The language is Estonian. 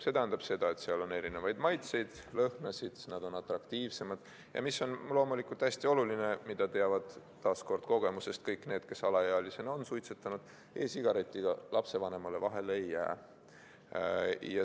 See tähendab seda, et seal on erinevaid maitseid, lõhnasid, nad on atraktiivsemad ja – mis on loomulikult hästi oluline, mida teavad taas kogemusest kõik need, kes alaealisena on suitsetanud – e-sigaretiga lapsevanemale vahele ei jää.